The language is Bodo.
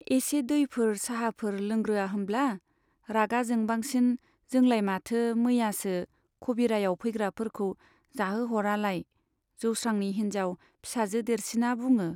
एसे दैफोर, चाहाफोर लोंग्रोआ होमब्ला ? रागा जोंबांसिन जोंलाय माथो मैयासो खबिरायाव फैग्राफोरखौ जाहोह'रालाय ? जौस्रांनि हिन्जाव, फिसाजो देरसिना बुङो।